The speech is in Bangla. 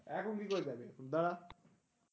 এখন কি করে যাবি দাঁড়া?